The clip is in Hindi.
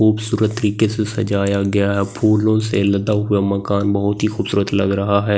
खूबसूरत तरीके से सजाया गया फूलों से लदा हुआ मकान बहुत ही खूबसूरत लग रहा है।